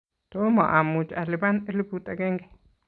tomo amuchi alipani elfut agenge